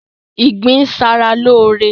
Ìgbín ń ṣa ra lóóre